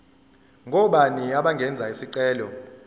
ngobani abangenza isicelo